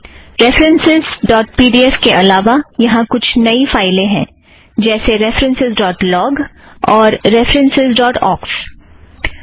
references dot P D F के अलावा यहाँ कुछ नई फ़ाइलें हैं जैसे रेफ़रन्सस् ड़ॉट लॉग referencesलॉग और रेफ़रन्सस् ड़ॉट ऑक्स referencesओक्स